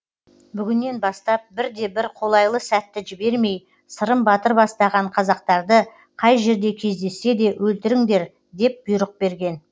бүгіннен бастап бірде бір қолайлы сәтті жібермей сырым батыр бастаған қазақтарды қай жерде кездессе де өлтіріңдер деп бұйрық берген